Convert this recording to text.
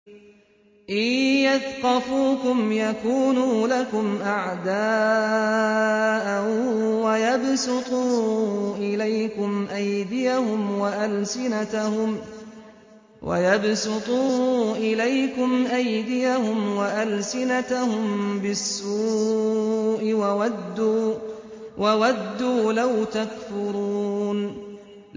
إِن يَثْقَفُوكُمْ يَكُونُوا لَكُمْ أَعْدَاءً وَيَبْسُطُوا إِلَيْكُمْ أَيْدِيَهُمْ وَأَلْسِنَتَهُم بِالسُّوءِ وَوَدُّوا لَوْ تَكْفُرُونَ